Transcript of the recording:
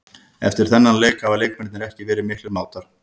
Eftir þennan leik hafa leikmennirnir ekki verið miklir mátar.